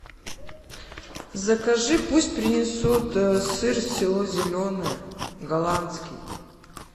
закажи пусть принесут сыр село зеленое голландский